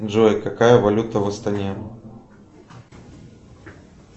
джой какая валюта в астане